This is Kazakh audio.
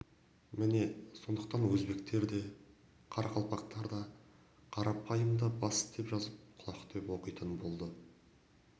міне сондықтан өзбектер де қарақалпақтар да қарайымдар да бас деп жазып құлақ деп оқитын болды